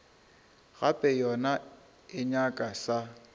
gape yona e nyaka sa